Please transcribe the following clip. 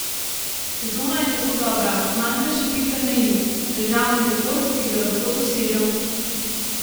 Sezona je zelo dobra, manjka še pika na i, državni rekord, ki ga lahko dosežem.